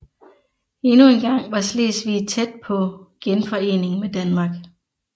Endnu engang var Slesvig tæt på genforening med Danmark